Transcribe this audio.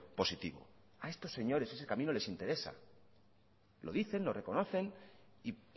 positivo a estos señores ese camino les interesa lo dicen lo reconocen y